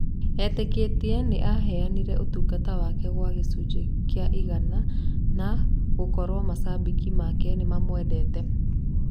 etĩkĩtie ni aheanire ũtũgata wake gwa gĩcujĩ kĩa igana na gũkorwo macabiki make nĩmamwedete.